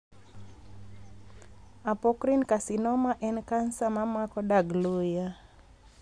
Apocrine carcinoma en kansa ma mako dag luya,.